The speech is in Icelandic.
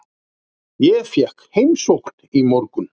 Ég fékk heimsókn í morgun.